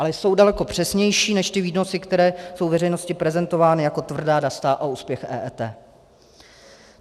Ale jsou daleko přesnější než ty výnosy, které jsou veřejnosti prezentovány jako tvrdá data a úspěch EET.